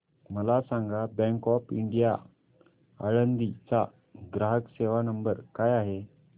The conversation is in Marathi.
मला सांगा बँक ऑफ इंडिया आळंदी चा ग्राहक सेवा नंबर काय आहे